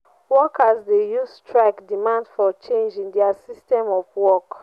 workers de use strike demand for change in their system of work